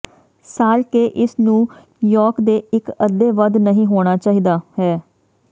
ਸਾਲ ਕੇ ਇਸ ਨੂੰ ਯੋਕ ਦੇ ਇੱਕ ਅੱਧੇ ਵੱਧ ਨਹੀ ਹੋਣਾ ਚਾਹੀਦਾ ਹੈ